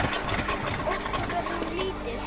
Ósköp er hún lítil.